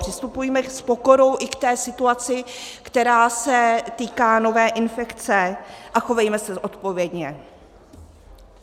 Přistupujme s pokorou i k té situaci, která se týká nové infekce, a chovejme se odpovědně.